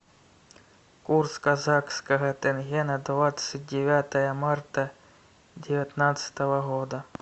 курс казахского тенге на двадцать девятое марта девятнадцатого года